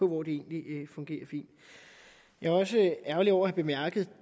hvor det egentlig fungerer fint jeg var også ærgerlig over at bemærke